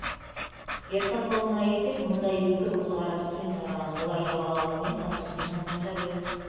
жер сатылымына келсек бұнда екі көзқарас кең тараған олар жалға алу мен сату менің ойымша біз